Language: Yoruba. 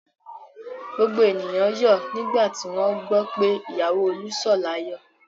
Gbogbo ènìyàn yọ̀ nígbà tí wọ́n gbọ́ pé ìyàwó Olú sọ̀ láyọ̀.